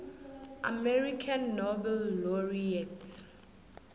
american nobel laureates